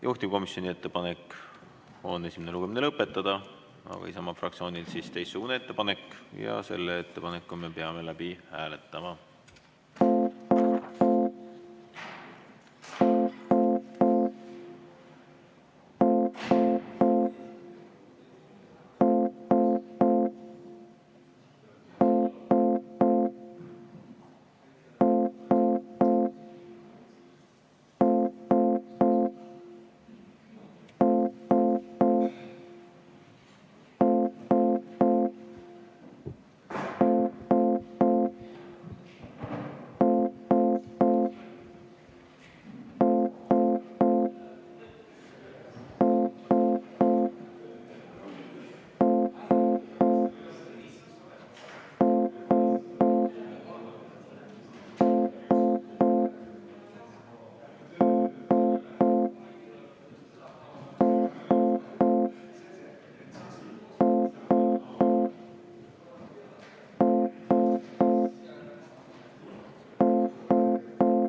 Juhtivkomisjoni ettepanek on esimene lugemine lõpetada, aga Isamaa fraktsioonil on teistsugune ettepanek ja selle ettepaneku me peame läbi hääletama.